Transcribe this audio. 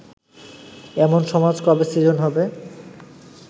এমন সমাজ কবে সৃজন হবে